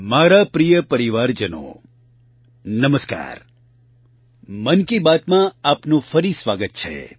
મારા પ્રિય પરિવારજનો નમસ્કાર મન કી બાતમાં આપનું ફરી સ્વાગત છે